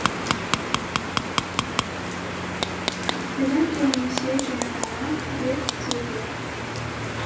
тілің келмесе жай ғана бек дей бер